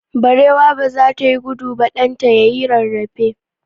Barewa ba za ta yi gudu ba, ɗan ta ya yi rarrafe.